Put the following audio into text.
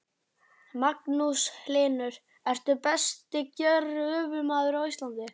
Magnús Hlynur: Ertu besti gröfumaður á Íslandi?